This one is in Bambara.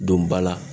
Don ba la